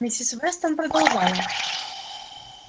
миссис вестон продолжала